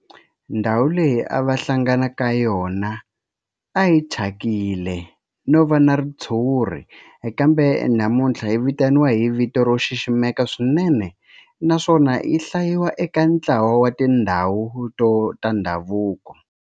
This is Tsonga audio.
Ndhawu leyi a va hlangana ka yona a yi thyakile no va na ritshuri kambe namuntlha yi vitaniwa hi vito ro xiximeka swinene naswona yi hlayiwa eka ntlawa wa tindhawu ta ndhavuko.